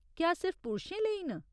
क्या सिर्फ पुरशें लेई न?